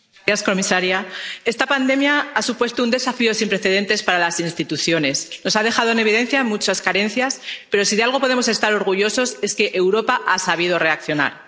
Señor presidente, señora comisaria, esta pandemia ha supuesto un desafío sin precedentes para las instituciones. Nos ha dejado en evidencia por las muchas carencias, pero si de algo podemos estar orgullosos es de que Europa haya sabido reaccionar.